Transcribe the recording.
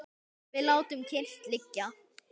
Við látum kyrrt liggja